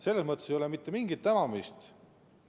Selles mõttes ei ole mitte mingit hämamist.